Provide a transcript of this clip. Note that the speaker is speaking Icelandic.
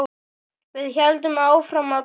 Við héldum áfram að ganga.